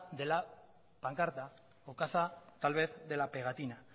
de la pancarta o caza tal vez de la pegatina